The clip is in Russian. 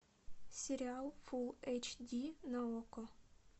сериал фул эйч ди на окко